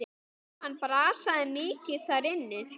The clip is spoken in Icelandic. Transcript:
Hann brasaði mikið þar inni.